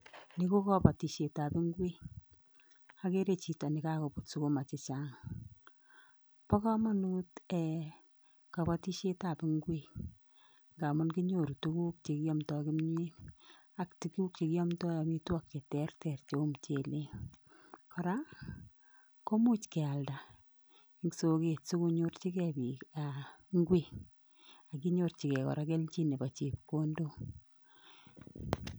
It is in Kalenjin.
Ni kokabotishietab ingwek, akere chito nekokobuut sukuma chechang, Bo komonut kabatishietab ingwek, ngamun kinyoru tuguuk chekiomdoo kimyeet ak tuguk chekiomdoo amitwogiik che terter cheu muchelek. Kora komuch kealdaa en soket sikonyorchigei biik ingwek ak kenyorchigei kora kelchin nebo chepkondook